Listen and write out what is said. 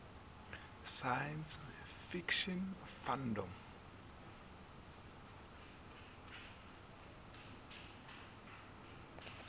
science fiction fandom